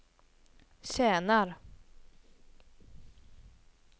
tjänar